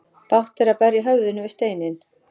Bágt er að berja höfðinu við steinninn.